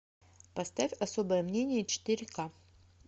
поставь особое мнение четыре ка